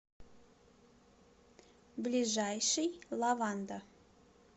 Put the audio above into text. ближайший лаванда